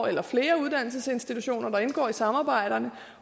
eller flere uddannelsesinstitutioner der indgår i samarbejderne